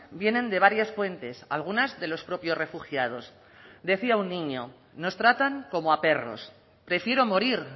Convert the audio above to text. vienen de varias fuentes algunas de los propios refugiados decía un niño nos tratan como a perros prefiero morir